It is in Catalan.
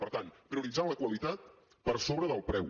per tant prioritzant la qualitat per sobre del preu